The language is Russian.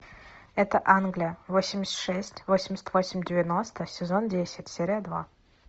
это англия восемьдесят шесть восемьдесят восемь девяносто сезон десять серия два